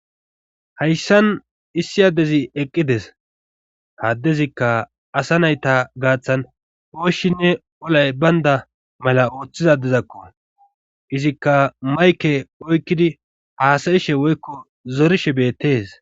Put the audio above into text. hayssan issi addezi eqqides haddezikka asa nayta gaaththan ooshinne olay baynda mala ooththizadezakko izikka mayke oykkidi haasayishe woykko zorishe beettees